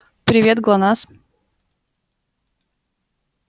привет глонассс